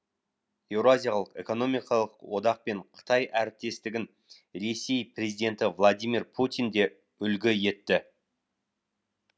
еуразиялық экономикалық одақ пен қытай әріптестігін ресей президенті владимир путин де үлгі етті